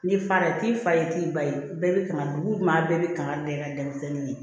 N'i fa t'i fa ye t'i ba ye bɛɛ bɛ kaman dugu maa bɛɛ bi kangari da i ka denmisɛnnin ye